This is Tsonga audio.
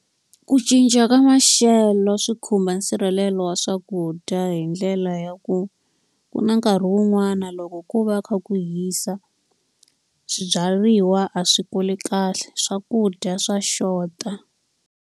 Ku cinca ka maxelo swi khumba nsirhelelo wa swakudya hi ndlela ya ku, ku na nkarhi wun'wani loko ko va kha ku hisa swibyariwa a swi kuli kahle. Swakudya swa xota.